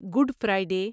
good Friday